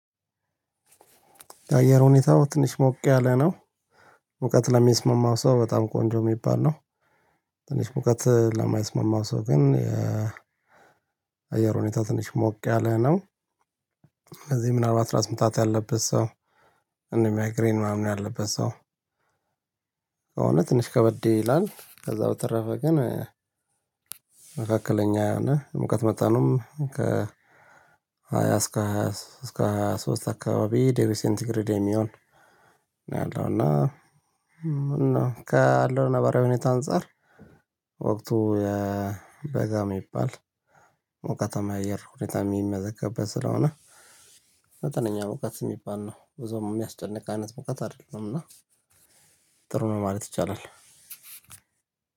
የአየር ሁኔታው ትንሽ ሞቅ ያለ ነው። ሙቀት ለሚስማማው ሰው በጣም ቆንጆ የሚባል ነው። ትንሽ ሙቀት ለማይስማማው ሰው ግን የአየር ሁኔታ ትንሽ ሞቅ ያለ ነው። ስለዚህ ምናልባት ራስ ምታት ያለበት ሰው። እነ ማይግሬን ምናምን ያለበት ሰው። ከሆነ ትንሽ ከበዴ ይላል ከዛ በተረፈ ግን። መካከለኛ የሆነ ሙቀት መጠኑም ከ ሃያ እስከ ሃያ እስከ ሃያ ሶስት አካባቢ ድግሪ ሴንት ግሬድ የሚሆን። እና እና ካለው ነባራዊ ሁኔታ አንፃር ወቅቱ የበጋ የሚባል ሚቃታማ አየር ሁኔታ የሚመዘግብበት ስለሆነ። መጠነኛ ሙቀት የሚባል ነው ብዙም የሚያስጨንቅ አይነት ሙቀት አይደለም። እና ጥሩ ነው ማለት ይቻላል።